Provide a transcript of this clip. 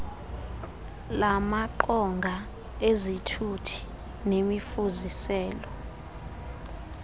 lamaqonga ezithuthi nemifuziselo